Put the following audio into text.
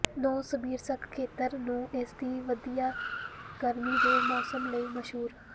Novosibirsk ਖੇਤਰ ਨੂੰ ਇਸ ਦੀ ਵਧੀਆ ਗਰਮੀ ਦੇ ਮੌਸਮ ਲਈ ਮਸ਼ਹੂਰ